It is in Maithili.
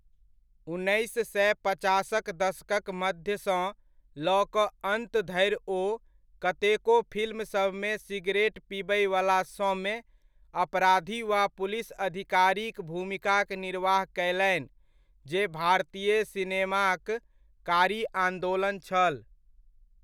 उन्नैस सए पचासक दशकक मध्यसँ लऽ कऽ अन्त धरि ओ कतेको फिल्मसभमे सिगरेट पिबैवला सौम्य अपराधी वा पुलिस अधिकारीक भूमिकाक निर्वाह कयलनि जे भारतीय सिनेमाक कारी आन्दोलन छल।